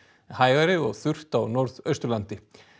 hægari og þurrt á Norðausturlandi